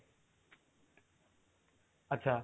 ଆଚ୍ଛା